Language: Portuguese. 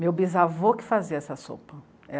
Meu bisavô que fazia essa sopa.